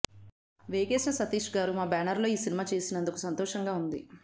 వేగేశ్న సతీష్ గారు మా బ్యానర్ లో ఈ సినిమా చేస్తున్నందుకు సంతోషంగా ఉంది